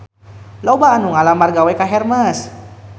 Loba anu ngalamar gawe ka Hermes